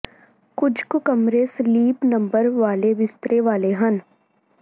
ਕੁਝ ਕੁ ਕਮਰੇ ਸਲੀਪ ਨੰਬਰ ਵਾਲੇ ਬਿਸਤਰੇ ਵਾਲੇ ਹਨ